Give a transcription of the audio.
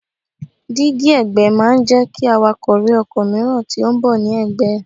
Dígí ẹ̀gbẹ́ máa ń jẹ́ kí awakọ̀ rí ọkọ̀ mìíràn tí ó ń bọ̀ ní ẹ̀gbẹ́ ẹ̀.